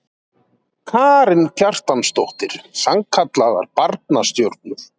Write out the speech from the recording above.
Karen Kjartansdóttir: Sannkallaðar barnastjörnur?